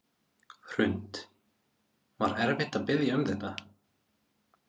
Hrund: Var erfitt að biðja um þetta?